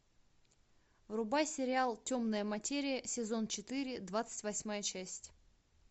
врубай сериал темная материя сезон четыре двадцать восьмая часть